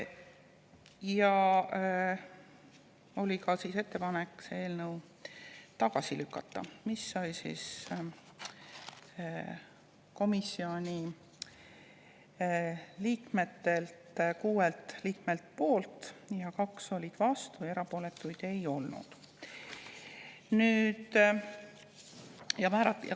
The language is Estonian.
Ja oli ka ettepanek eelnõu tagasi lükata, mille poolt oli 6 liiget, vastu 2 ja erapooletuid ei olnud.